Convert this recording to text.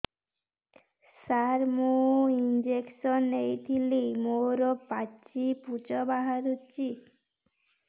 ସାର ମୁଁ ଇଂଜେକସନ ନେଇଥିଲି ମୋରୋ ପାଚି ପୂଜ ବାହାରୁଚି